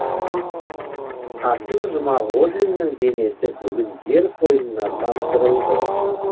қасым жұмағожиннің денесі бүгін жер қойнына тапсырылды